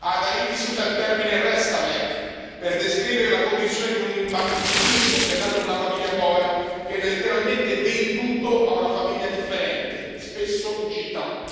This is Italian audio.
Ad Haiti si usa il termine restavek per descrivere la condizione di un bimbo che è nato in una famiglia povera e viene letteralmente venduto a una famiglia differente, spesso in città.